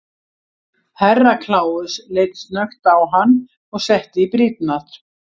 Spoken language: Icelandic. Herra Kláus leit snöggt á hann og setti í brýnnar.